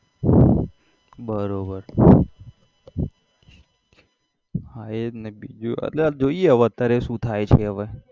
બરોબર હા એજ ને બીજું એટલે જોઈએ હવે અત્યારે શુ થાય છે હવે